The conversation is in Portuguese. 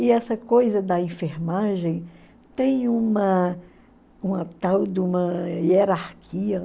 E essa coisa da enfermagem tem uma uma tal de uma hierarquia.